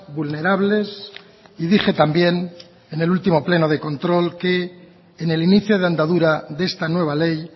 vulnerables y dije también en el último pleno de control que en el inicio de andadura de esta nueva ley